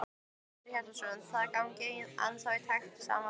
Hjörtur Hjartarson: Þið gangið ennþá í takt sem sagt?